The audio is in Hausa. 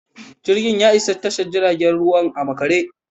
Jirgin ya isa tashar jiragen ruwa a makare.